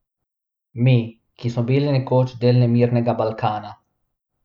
Mi, ki smo bili nekoč del nemirnega Balkana!